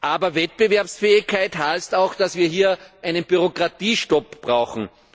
Aber Wettbewerbsfähigkeit heißt auch, dass wir einen Bürokratiestopp brauchen.